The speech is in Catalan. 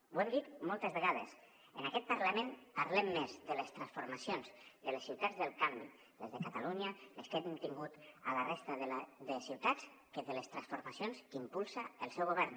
ho hem dit moltes vegades en aquest parlament parlem més de les transformacions de les ciutats del canvi les de catalunya les que hem tingut a la resta de ciutats que de les transformacions que impulsa el seu govern